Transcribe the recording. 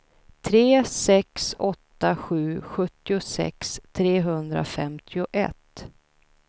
tre sex åtta sju sjuttiosex trehundrafemtioett